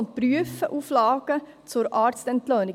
Derzeit prüfen sie Auflagen für die Arztentlöhnung.